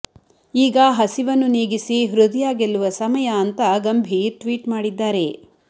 ಈಗ ಹಸಿವನ್ನು ನೀಗಿಸಿ ಹೃದಯ ಗೆಲ್ಲುವ ಸಮಯ ಅಂತಾ ಗಂಭೀರ್ ಟ್ವೀಟ್ ಮಾಡಿದ್ದಾರೆ